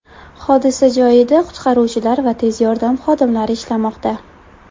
Hodisa joyida qutqaruvchilar va tez yordam xodimlari ishlamoqda.